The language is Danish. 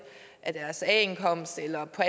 af deres a indkomst eller på